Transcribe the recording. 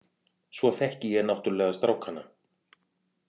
Svo þekki ég náttúrulega strákana.